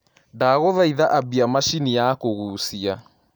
ndagũthaĩtha ambia machĩnĩ ya kugũcia